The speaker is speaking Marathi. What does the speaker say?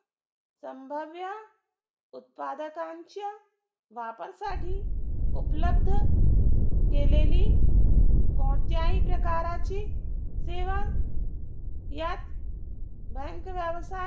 संभाव्य उत्पादकांच्या वापर साठी उपलब्ध केलेली कोणत्याही प्रकाराची सेवा यात भयंकर व्यवसाय